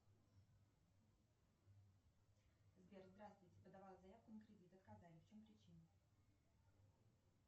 сбер здравствуйте подавала заявку на кредит отказали в чем причина